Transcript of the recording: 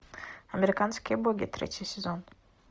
американские боги третий сезон